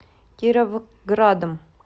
кировградом